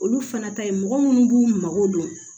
Olu fana ta ye mɔgɔ minnu b'u mago don